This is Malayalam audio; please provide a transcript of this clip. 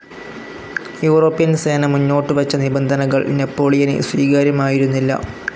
യൂറോപ്യൻ സേന മുന്നോട്ടുവച്ച നിബന്ധനകൾ നെപ്പോളിയന് സ്വീകാര്യമായിരുന്നില്ല.